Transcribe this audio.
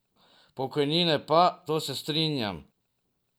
Pokojnine pa, to se strinjam.